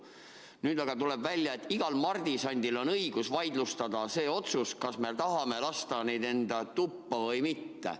Nüüd aga tuleb välja, et igal mardisandil on õigus vaidlustada see otsus, kas me tahame lasta teda enda tuppa või mitte.